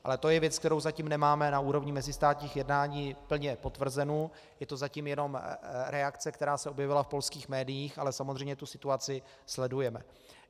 Ale to je věc, kterou zatím nemáme na úrovni mezistátních jednání plně potvrzenu, je to zatím jenom reakce, která se objevila v polských médiích, ale samozřejmě tu situaci sledujeme.